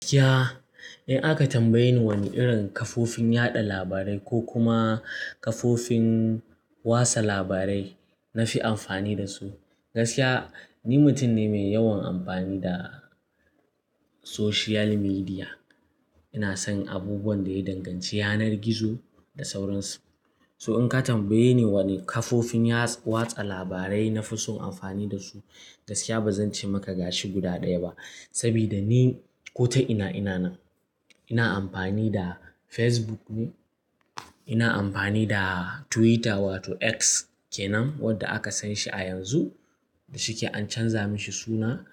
Gaskiya in aka tambaye ni wane irin kafofin yaɗa labarai ko kuma kafofin watsa labarai na fi amfani da su, gaskiya ni mutum ne mai yawan amfani da social media. Ina son abubuwan da ya danganci yanar gizo da sauransu. So in ka tambaye ni wane kafofin yaɗa-- watsa labarai na fi so amfani da su, gaskiya ba zan ce maka gashi guda ɗaya ba. Saboda ni ko ta ina, ina nan. Ina amfani da Facebook ne, ina amfani da Twitter wato X kenan wanda aka san shi a yanzu da shike an canza mashi suna.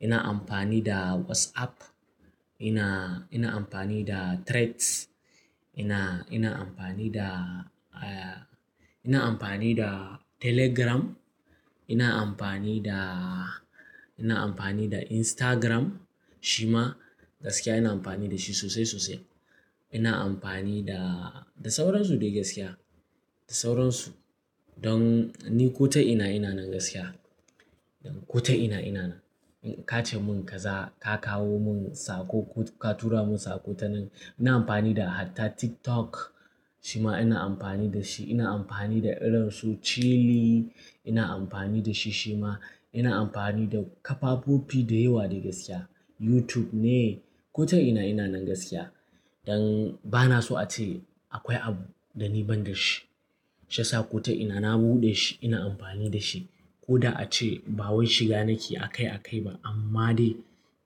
Ina amfani da WhatsApp, ina, ina amfani da Threads, ina, ina amfani da, eh, ina amfani da Telegram, ina amfani da, ina amfani da Instagram shima gaskiya ina amfani da shi sosai, sosai. Ina amfani da, da sauransu dai gaskiya, da sauransu. Don ni ko ta ina, ina nan gaskiya. Don ko ta ina, ina nan. In ka ce mun kaza, ka kawo mun sako, ka tura mun sako ta nan. Ina amfani da hatta TikTok shima ina amfani da shi. Ina amfani da irin su Chile ina amfani da shi shima. Ina amfani da kafafofi da yawa dai gaskiya. YouTube ne ko ta ina, ina nan gaskiya. Don ba na so ace akwai abu da ni ban da shi. Shayasa ko ta ina na buɗe shi ina amfani da shi. Ko da ace bawai shiga nake a kai a kai ba amma dai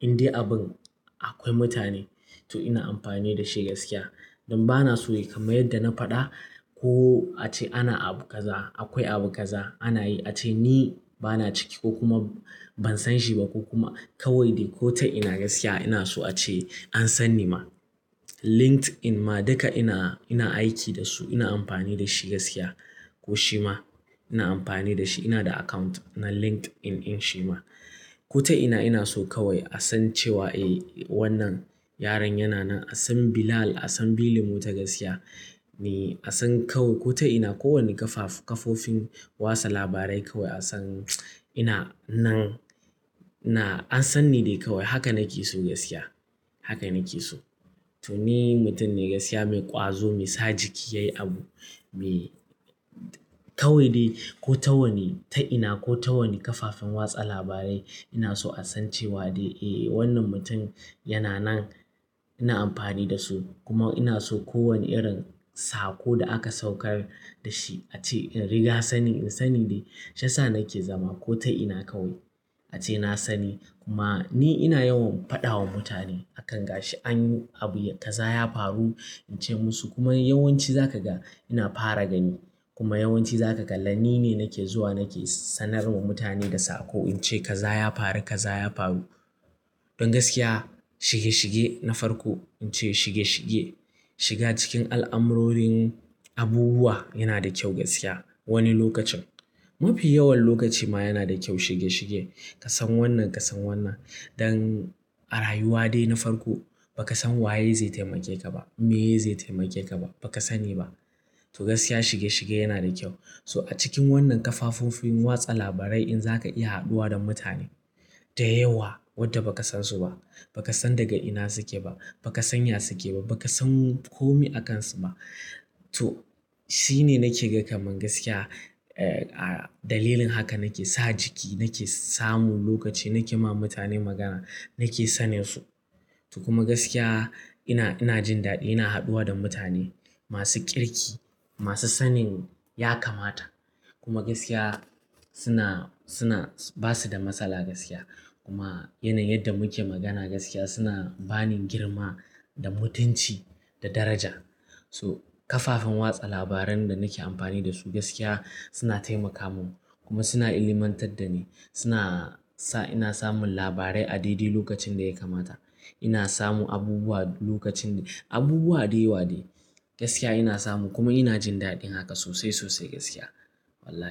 in dai abun akwai mutane to ina amfani da shi gaskiya. Don ba na so dai kamar yadda na faɗa ko ace ana abu kaza, akwai abu kaza ana yi. Ace ni ba na ciki ko kuma ban san shi ba ko kuma kawai dai ko ta ina gaskiya ina so ace an san ni ma. LinkedIn ma duka ina, ina aiki da su ina amfani da shi gaskiya. Ko shima ina amfani da shi ina da account na LinkedIn in shima. Ko ta ina ina so kawai a san cewa eh wannan yaron yana nan. A san Bilal, a san Bilimu ta gaskiya. Ni a san kaw-- ko ta ina kowane kafafu-- kafofin watsa labarai kawai a san ina nan. Na-- an san ni dai kawai. Haka nake so gaskiya. Haka nake so. To ni mutum ne gaskiya mai ƙwazo, mai sa jiki yayi abu, me-- kawai dai ko ta wani, ta ina ko ta wani kafafen watsa labarai ina so a san cewa dai eh wannan mutum yana nan. Ina amfani da su kuma ina so kowane irin sako da aka saukar da shi ace in riga sanin, in sani dai sha sa nake zama ko ta ina kawai. Ace na sani kuma ni ina yawan faɗawa mutane akan gashi. An yi abu, kaza ya faru in ce musu kuma yawanci za ka ga ina fara gani. Kuma yawanci za ka ga ni ne nake zuwa nake sanarwa mutane da sako. In ce kaza ya faru, kaza ya faru. Don gaskiya shige shige na farko in ce shige shige. Shiga cikin al'amurorin abubuwa yana da kyau gaskiya wani lokacin. Mafi yawan lokaci ma yana da kyau shige shige. Ka san wannan, ka san wannan. Don a rayuwa dai na farko ba ka san waye zai taimake ka ba, meye zai taimake ka ba, ba ka sani ba. To gaskiya shige shige yana da kyau. So a cikin wannan kafafafin watsa labarai in za ka iya haɗuwa da mutane da yawa wadda ba ka san su ba, ba ka san daga ina suke ba, ba ka san ya suke ba, ba ka san komai a kansu ba. To shine nake gan kamar gaskiya, eh, dalilin haka nake sa jiki nake samun lokaci nake ma mutane magana, nake sanin su. To kuma gaskiya ina, ina jin daɗi ina haɗuwa da mutane masu ƙirki, masu sanin ya kamata. Kuma gaskiya suna, suna ba su da matsala gaskiya. Kuma yanayin yadda muke magana gaskiya suna bani girma da mutunci da daraja. So kafafen watsa labaran da nake amfani da su gaskiya suna taimaka mun kuma suna ilmantar da ni. Suna sa ina samun labarai a daidai lokacin da ya kamata. Ina samun abubuwa lokacin, abubuwa da yawa dai gaskiya ina samu kuma ina jin daɗin haka sosai, sosai gaskiya wallahi.